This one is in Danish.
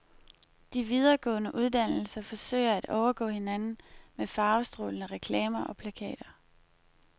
De videregående uddannelser forsøger at overgå hinanden med farvestrålende reklamer og plakater.